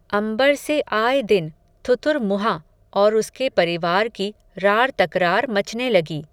अंबर से आये दिन, थुथुरमुंहा, और उसके परिवार की, रार तकरार मचने लगी